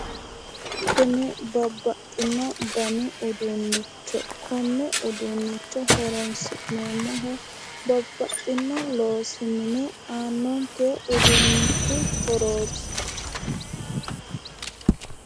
Kuni babbaxino danni uduunicho kone uduunicho horonsi'neemmohu babbaxino loosi mine aanonke uduunicho horooti